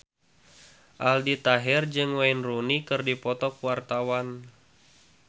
Aldi Taher jeung Wayne Rooney keur dipoto ku wartawan